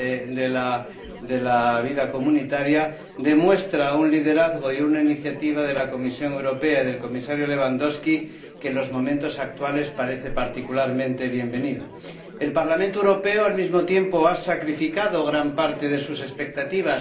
de la vida comunitaria demuestra un liderazgo y una iniciativa de la Comisión Europea y del Comisario Lewandowski que en los momentos actuales parecen particularmente bienvenidos. El Parlamento Europeo, al mismo tiempo, ha sacrificado gran parte de sus expectativas